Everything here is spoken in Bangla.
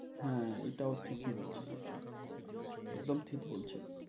হ্যাঁ, এটাও ঠিকই বলছেন আপনি একদম ঠিক বলছেন।